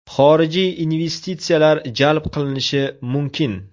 Xorijiy investitsiyalar jalb qilinishi mumkin.